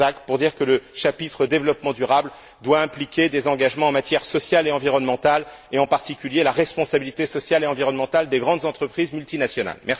Kazak pour dire que le chapitre développement durable doit impliquer des engagements en matière sociale et environnementale et, en particulier, la responsabilité sociale et environnementale des grandes entreprises multinationales.